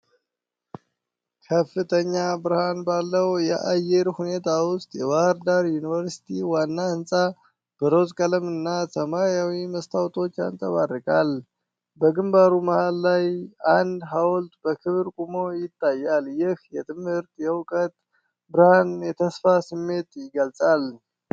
ከፍተኛ ብርሃን ባለው የአየር ሁኔታ ውስጥ፣ የባሕር ዳር ዩኒቨርሲቲ ዋና ሕንፃ በሮዝ ቀለምና ሰማያዊ መስታወቶች ያንጸባርቃል። በግንባሩ መሃል ላይ አንድ ሐውልት በክብር ቆሞ ይታያል፤ ይህም የትምህርትና የእውቀት ብርሃን የተስፋ ስሜት ይገልጻል።